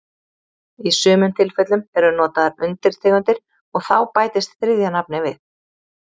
Í sumum tilfellum eru notaðar undirtegundir og þá bætist þriðja nafnið við.